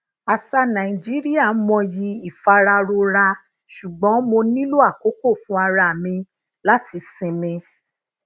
àṣà nàìjíríà mọyì ìfararora ṣùgbọn mo nílò àkókò fun ara mi lati sinmi